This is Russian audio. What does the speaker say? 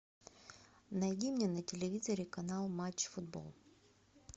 найди мне на телевизоре канал матч футбол